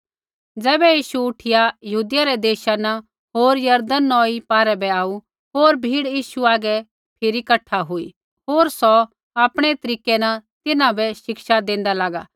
तैबै यीशु उठिया यहूदिया रै देशा न होर यरदन नौई पारै बै आऊ होर भीड़ यीशु हागै फिरी कठा हुई होर सौ आपणै तरीकै न तिन्हां बै शिक्षा देंदा लागा